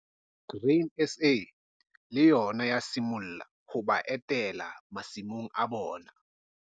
Grain SA le yona ya simolla ho ba etela masimong a bona.